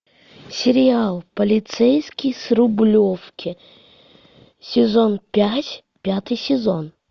сериал полицейский с рублевки сезон пять пятый сезон